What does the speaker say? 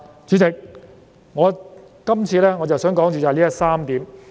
主席，今次，我想先說的就是這3點。